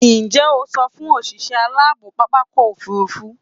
Ǹjẹ́ẹ́ o sọ fún òṣìṣẹ́ aláàbò pápákọ̀ òfurufú?